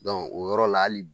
o yɔrɔ la hali